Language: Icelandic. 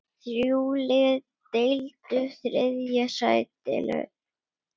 Þrjú lið deildu þriðja sætinu.